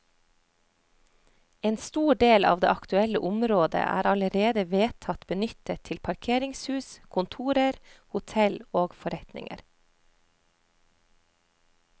En stor del av det aktuelle området er allerede vedtatt benyttet til parkeringshus, kontorer, hotell og forretninger.